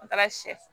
An taara sɛfu